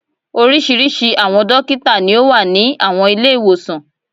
Oríṣiríṣi àwọn dókítà ni ó wà ní àwọn Ilé-ìwòsàn